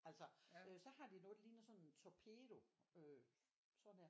Altså øh så har de noget der ligner sådan en torpedo øh sådan her